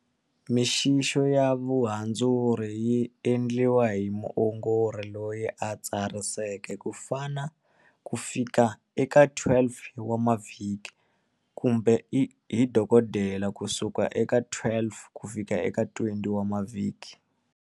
Mixixo ya vuhandzuri yi endliwa hi muongori loyi a tsariseke, kufika eka 12 wa mavhiki, kumbe hi doko dela, kusuka eka 12 kufika eka 20 wa mavhiki.